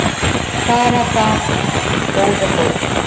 Bara það góða þó.